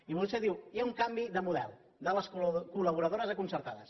i vostè diu hi ha un canvi de model de les collaboradores a concertades